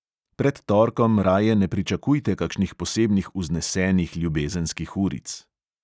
Pred torkom raje ne pričakujte kakšnih posebnih vznesenih ljubezenskih uric.